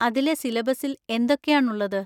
അതിലെ സിലബസിൽ എന്തൊക്കെയാണുള്ളത്?